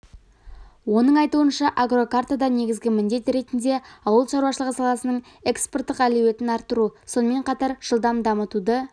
оның айтуынша агрокартада негізгі міндет ретінде ауыл шаруашылығы саласының экспорттық әлеуетін арттыру сонымен қатар жылдам дамытуды